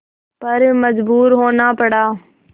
पर मजबूर होना पड़ा